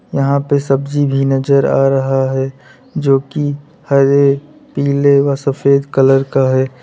यहां पे सब्जी भी नजर आ रहा है जो कि हरे पीले व सफेद कलर का है।